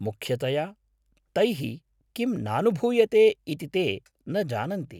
मुख्यतया, तैः किं नानुभूयते इति ते न जानन्ति।।